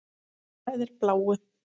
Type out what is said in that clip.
Mér blæðir bláu.